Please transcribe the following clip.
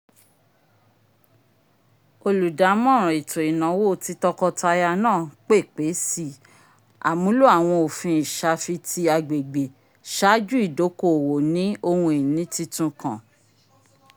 oludamọran eto inawo ti tọkọtaya naa pèpé sì àmúlò awọn ofin isafiti agbegbe ṣaaju idoko-owo ni ohun-ìní titun kàn